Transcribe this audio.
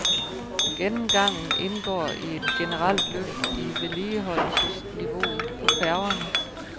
Gennemgangen indgår i et generelt løft i vedligeholdelsesniveauet på færgerne.